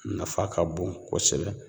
Nafa ka bon kosɛbɛ